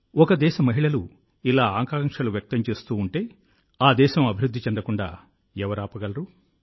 ఒక దేశ అమ్మాయిలు ఇలా ఆకాంక్షలు వ్యక్తం చేస్తూ ఉంటే ఆ దేశం అభివృద్ధి చెందకుండా ఎవరు ఆపగలరు